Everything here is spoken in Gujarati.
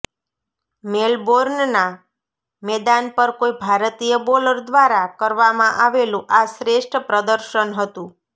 મેલબોર્નના મેદાન પર કોઈ ભારતીય બોલર દ્વારા કરવામાં આવેલું આ શ્રેષ્ઠ પ્રદર્શન હતું